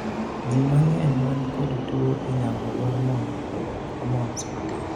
jii mang'eny man kod tuo inyalo dwar mondo olok homons matin